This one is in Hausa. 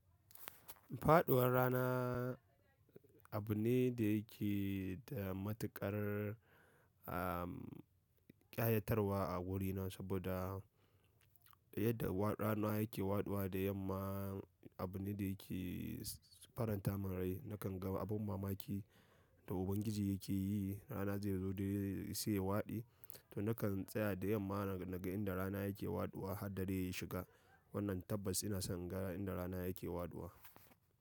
Faɗuwar rana abu ne da yake da matuƙar, ah, ƙayatarwa a gurina saboda yadda rana yake waɗuwa da yamma abu ne da yake faranta min rai. Nakan ga abun mamaki da Ubangiji yake yi, rana zai zo dai sai ya waɗi, to nakan tseya da yamma naga yanda rana yake waɗuwa har dare ya shiga. Wannan tabbas ina son in ga inda rana yake waɗuwa.